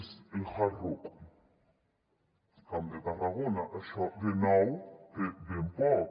més el hard rock també a tarragona això de nou té ben poc